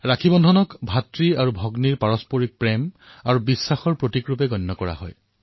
ৰক্ষা বন্ধন উৎসৱক ভাতৃ আৰু ভগ্নীৰ মাজত থকা প্ৰেম আৰু বিশ্বাসৰ প্ৰতীক হিচাপে গণ্য কৰা হয়